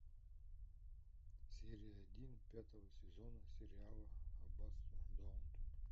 серия один пятого сезона сериала аббатство даунтон